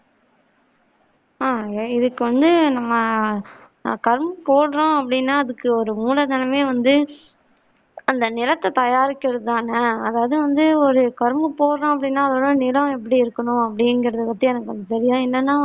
ஆஹ் இதுக்கு வந்து நம்ம கரும்பு போட்றோம் அப்பிடின்னா அதுக்கு ஒரு மூலதனமே வந்து அந்த நிலத்த தயாரிக்கிறது தானே அதாவது வந்து ஒரு கரும்பு போட்றோம் அப்பிடின்னா அதோட நிலம் எப்படி இருக்கனும் அப்பிடிங்கிற பத்தி எனக்கு கொஞ்சம் இல்லேன்னா வந்து